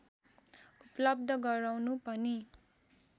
उपलव्ध गराउनु पनि